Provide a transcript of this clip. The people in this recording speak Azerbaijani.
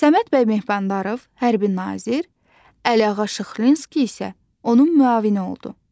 Səməd bəy Mehmandarov hərbi nazir, Əliağa Şıxlinski isə onun müavini oldu.